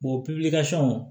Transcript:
pewu